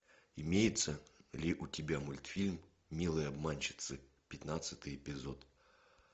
имеется ли у тебя мультфильм милые обманщицы пятнадцатый эпизод